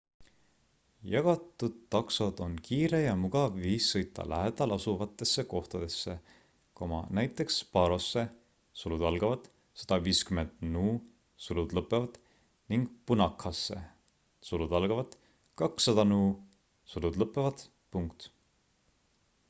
jagatud taksod on kiire ja mugav viis sõita lähedalasuvatesse kohtadesse näiteks parosse 150 nu ning punakhasse 200 nu